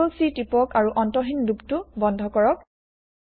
Ctrl C টিপক আৰু অন্তহিন লুপ টো বন্ধ কৰক